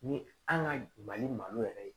Ni an ka mali malo yɛrɛ